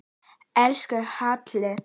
Elsku Hjalti.